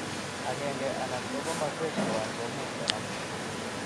Agenge anan ko komoswek tuwan komuch konam.